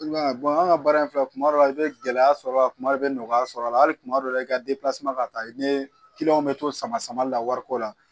anw ka baara in filɛ kuma dɔ la i bɛ gɛlɛya sɔrɔ a la kuma dɔ i bɛ nɔgɔya sɔrɔ a la hali kuma dɔ la i ka ka taa i ni bɛ to sama samali la wariko la